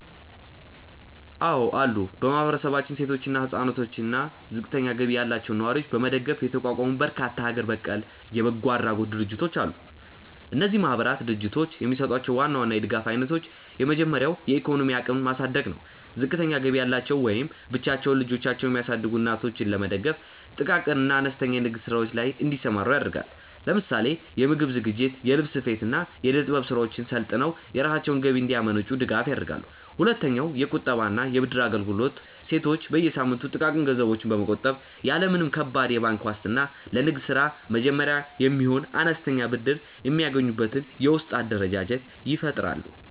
አዎ አሉ። በማህበረሰባችን ሴቶችን፣ ህፃናትን አና እና ዝቅተኛ ገቢ ያላቸውን ነዋሪዎች ለመደገፍ የተቋቋሙ በርካታ ሀገር በቀል የበጎ አድራጎት ድርጅቶች አሉ። እነዚህ ማህበራትና ድርጅቶች የሚሰጧቸውን ዋና ዋና የድጋፍ አይነቶች የመጀመሪያው የኢኮኖሚ አቅምን ማሳደግ ነው። ዝቅተኛ ገቢ ያላቸው ወይም ብቻቸውን ልጆቻቸውን የሚያሳድጉ እናቶችን ለመደገፍ ጥቃቅን እና አነስተኛ የንግድ ስራዎች ላይ እንዲሰማሩ ያደርጋሉ። ለምሳሌ የምግብ ዝግጅት፣ የልብስ ስፌት፣ እና የእደ-ጥበብ ስራዎችን ሰልጥነው የራሳቸውን ገቢ እንዲያመነጩ ድጋፍ ያደርጋሉ። ሁለተኛውየቁጠባ እና የብድር አገልግሎት ሴቶች በየሳምንቱ ጥቃቅን ገንዘቦችን በመቆጠብ፣ ያለ ምንም ከባድ የባንክ ዋስትና ለንግድ ስራ መጀመሪያ የሚሆን አነስተኛ ብድር የሚያገኙበትን የውስጥ አደረጃጀት ይፈጥራሉ።